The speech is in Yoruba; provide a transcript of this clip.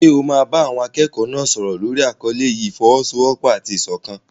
Ṣé o máa bá àwọn akẹ́kọ̀ọ́ náà sọ̀rọ̀ lórí àkọlé yìí "ìfọ́wọ́sọwọ́pọ̀ àti ìṣọ̀kan"?